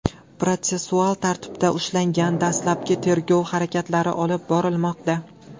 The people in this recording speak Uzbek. protsessual tartibda ushlangan, dastlabki tergov harakatlari olib borilmoqda.